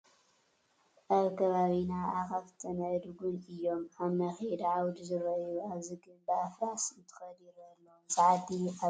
ኣብ ከባቢና ኣኻፍትን ኣእዱግን እዮም ኣብ መኼዳ ዓውዲ ዝርአዩ፡፡ ኣብዚ ግን ብኣፍራስ እንተኺዱ ይርአ ኣሎ፡፡ እዚ ዓዲ ኣበይ ኮን ይኸውን?